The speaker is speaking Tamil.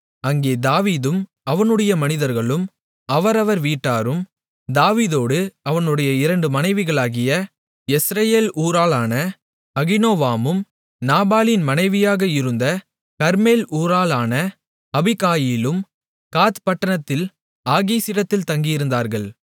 அங்கே தாவீதும் அவனுடைய மனிதர்களும் அவரவர் வீட்டாரும் தாவீதோடு அவனுடைய இரண்டு மனைவிகளாகிய யெஸ்ரயேல் ஊராளான அகினோவாமும் நாபாலின் மனைவியாக இருந்த கர்மேல் ஊராளான அபிகாயிலும் காத் பட்டணத்தில் ஆகீசிடத்தில் தங்கியிருந்தார்கள்